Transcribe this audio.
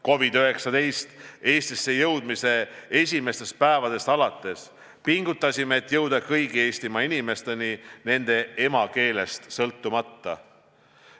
COVID-19 Eestisse jõudmise esimestest päevadest alates pingutasime, et jõuda kõikide Eesti inimesteni nende emakeelest sõltumata.